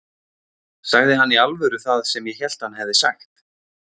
Sagði hann í alvöru það sem ég hélt að hann hefði sagt?